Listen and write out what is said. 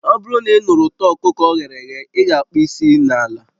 Ọ bụrụ na ị nụrụ ụtọ ọkụkọ o ghere eghe, ị ga-akpo isi n'ala